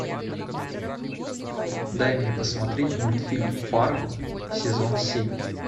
дай мне посмотреть мультфильм фарго сезон семь